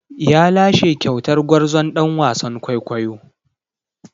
Ya lashe kyautar gwarzon ɗan wasan kwaikwayo.